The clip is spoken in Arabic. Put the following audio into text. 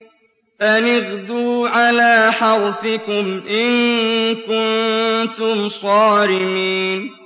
أَنِ اغْدُوا عَلَىٰ حَرْثِكُمْ إِن كُنتُمْ صَارِمِينَ